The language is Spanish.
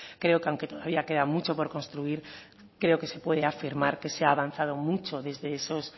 creo que aunque todavía queda mucho por construir creo que se puede afirmar que se ha avanzado mucho desde esos